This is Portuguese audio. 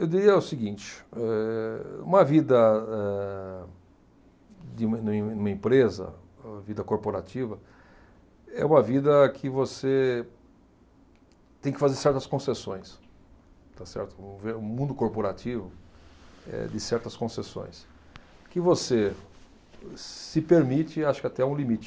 Eu diria o seguinte, eh, uma vida, eh, de, num, numa empresa, vida corporativa, é uma vida que você tem que fazer certas concessões, está certo, ver, o mundo corporativo é de certas concessões, que você, se permite, acho que até um limite.